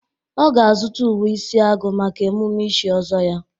Ọ ga-azụta uwe isi agu maka emume ichi ọzọ ya.